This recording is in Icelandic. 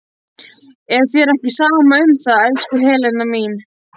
Er þér ekki sama um það, elsku Helena mín?